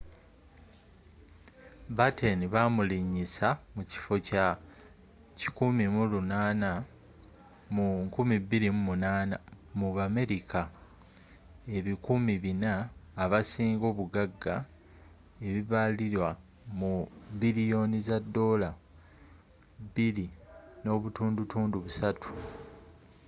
batten bamulinyisa mu kifo kya 190th mu 2008 mu bamerica ebikumi 400 abasinga obuggaga ebibalirirwa mu $2.3 billion